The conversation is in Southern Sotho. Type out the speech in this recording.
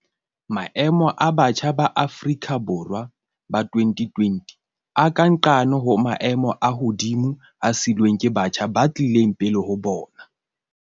Maemo a batjha ba Afrika Borwa ba 2020 a ka nqane ho maemo a hodimo a siilweng ke batjha ba tlileng pele ho bona.